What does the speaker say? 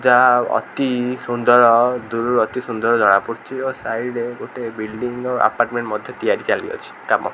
ଯା ଅତି ସୁନ୍ଦର ଦୂରରୁ ଅତି ସୁନ୍ଦର ଜଣାପଡୁଚି ଓ ସାଇଡ୍ ରେ ଗୋଟେ ବିଲଡିଂ ର ଆପାର୍ଟମେଣ୍ଟ ମଧ୍ୟ ତିଆରି ଚାଲିଅଛି କାମ।